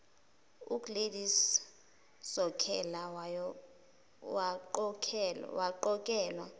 ugladys sokhela waqokelwa